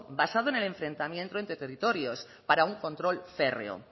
basado en el enfrentamiento entre territorios para un control férreo